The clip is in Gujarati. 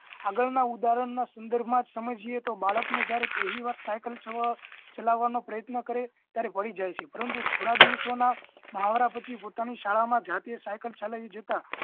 આગળના ઉદાહરણ ના સંદર્ભ માં જ સમજીએ તો બાળક ના પહેલી વાર સાયકલ ચાલવા નો પ્રયત્ન કરે છે ત્યારે પડી જાય છે પરંતુ થોડા દિવસો ના મહાવરા પછી પોતાની શાળા માં જાતે સાયકલ ચલાવી જતા